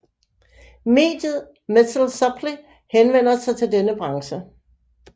Mediet Metal Supply henvender sig til denne branche